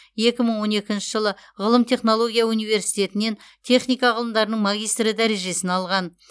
екі мың он екінші жылы ғылым технология университетінен техника ғылымдарының магистрі дәрежесін алған